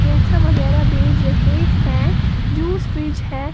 ये सब वगैरा भेज रहे हैं जूस फ्रिज है।